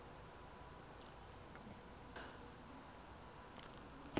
ge go be go ka